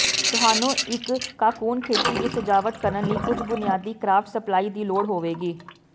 ਤੁਹਾਨੂੰ ਇੱਕ ਕਾਕੁੰਨ ਖਿੜਕੀ ਦੀ ਸਜਾਵਟ ਕਰਨ ਲਈ ਕੁਝ ਬੁਨਿਆਦੀ ਕਰਾਫਟ ਸਪਲਾਈ ਦੀ ਲੋੜ ਹੋਵੇਗੀ